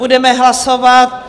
Budeme hlasovat.